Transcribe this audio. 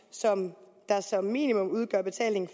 der som minimum udgør betalingen